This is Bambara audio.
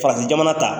Farafin jamana ta